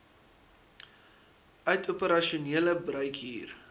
uit operasionele bruikhuur